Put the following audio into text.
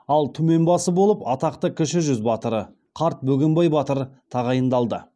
ал түмен басы болып атақты кіші жүз батыры қарт бөгенбай батыр тағайындалды